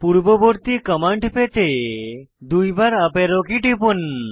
পূর্ববর্তী কমান্ড পেতে দুইবার আপ অ্যারো কী টিপুন